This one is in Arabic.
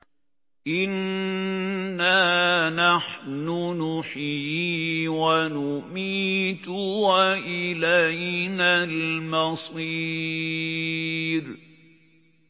إِنَّا نَحْنُ نُحْيِي وَنُمِيتُ وَإِلَيْنَا الْمَصِيرُ